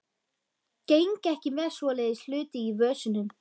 Geng ekki með svoleiðis hluti í vösunum.